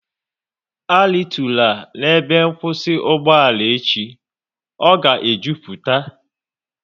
A ritula n'ebe nkwụsị ugboala echi, ọ ga e jupụta!